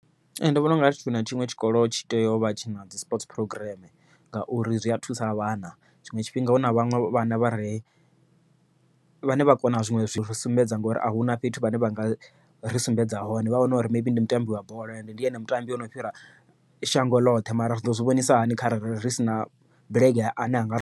Ee ndi vhona u nga ri tshiṅwe na tshiṅwe tshikolo tshi tea u vha tshina dzi sport phurogireme, ngauri zwi a thusa vhana tshiṅwe tshifhinga huna vhaṅwe vhana vha re vhane vha kona zwiṅwe zwi re ngori ahuna fhethu vhane vha nga ri sumbedza hone, vha wane uri ndi mutambi wa bola, ndi ene mutambi ono fhira shango ḽoṱhe mara riḓo zwi vhonisa hani kharali ri sina bulege ane anga ri.